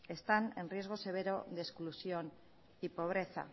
están en riesgo severo de exclusión y pobreza